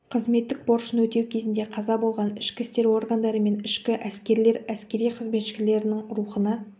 қызметтік борышын өтеу кезінде қаза болған ішкі істер органдары мен ішкі әскерлер әскери қызметшілерінің рухына